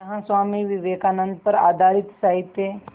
यहाँ स्वामी विवेकानंद पर आधारित साहित्य